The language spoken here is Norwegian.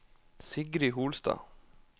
Sigrid Holstad